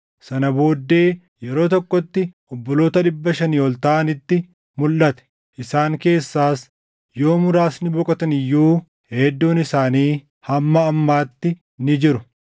Sana booddee yeroo tokkotti obboloota dhibba shanii ol taʼanitti mulʼate; isaan keessaas yoo muraasni boqotan iyyuu hedduun isaanii hamma ammaatti ni jiru.